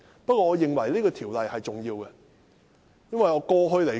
不過，我認為這項條例有其重要性。